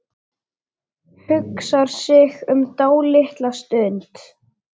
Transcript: Hugsar sig um dálitla stund.